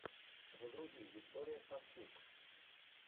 загрузи виктория сафтюк